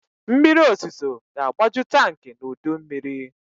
Mmiriozuzo ga-agbaju tankị n'udummiri.